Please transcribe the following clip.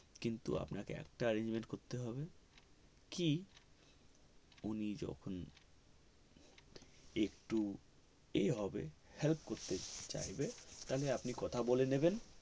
কিন্তু আপনাকে একটা arrangement করতে হবে কি উনি যখন একটু এ হবে help করতে চাইবে তবে আপনি কথা বলে নেবেন